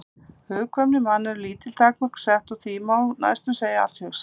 Hugkvæmni mannanna eru lítil takmörk sett og því má næstum segja að allt sé hugsanlegt.